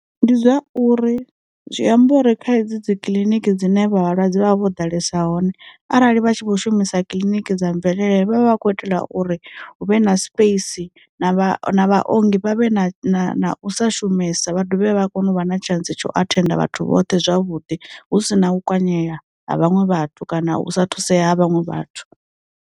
Ndi zwa uri, zwi amba uri kha hedzi dzi kiḽiniki dzine vha vhalwadze vho ḓalesa hone arali vha tshi vho shumisa kiliniki dza mvelele vhavha vha khou itela uri hu vhe na space na vha na vha ongi vha vhe na u sa shumesa vha dovhe vha kone u vha na tshantsi tsha u athenda vhathu vhoṱhe zwavhuḓi hu si na kwanyeya ha vhaṅwe vhathu kana u sa thusea ha vhaṅwe vhathu.